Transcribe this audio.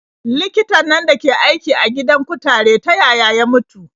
Likitan nan dake aiki a gidan kutare ta yaya ya mutu?